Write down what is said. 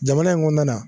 Jamana in kɔnɔna na